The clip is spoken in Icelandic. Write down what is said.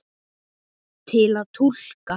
Til að túlka